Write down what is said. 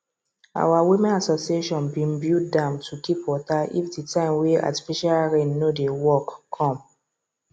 our women association been build dam to keep water if the time wey artificial rain no dey work come